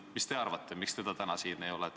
Mis te arvate, miks teda täna siin ei ole?